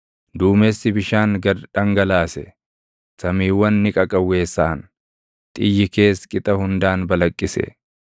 Duumessi bishaan gad dhangalaase; samiiwwan ni qaqawweessaʼan; xiyyi kees qixa hundaan balaqqise.